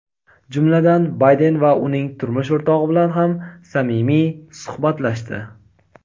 jumladan Bayden va uning turmush o‘rtog‘i bilan ham samimiy suhbatlashdi.